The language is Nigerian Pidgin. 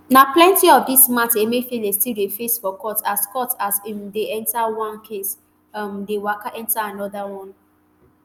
na plenti of dis mata emefiele still dey face for court as court as im dey enta one case um dey waka enta anoda one